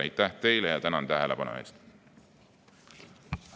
Aitäh teile, tänan tähelepanu eest!